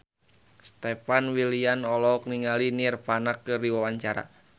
Stefan William olohok ningali Nirvana keur diwawancara